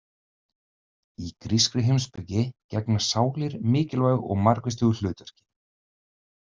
Í grískri heimspeki gegna sálir mikilvægu og margvíslegu hlutverki.